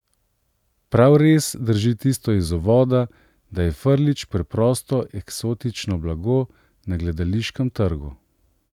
Prav res drži tisto iz uvoda, da je Frljić preprosto eksotično blago na gledališkem trgu.